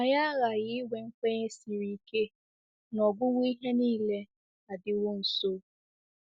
Anyị aghaghị inwe nkwenye siri ike na “ọgwụgwụ ihe nile adịwo nso.”